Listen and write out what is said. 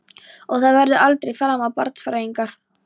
Og það verður aldrei framar barnsfæðing.